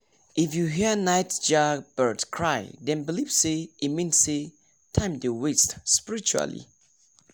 if you hear nightjar bird cry dem believe say e mean say time dey waste spiritually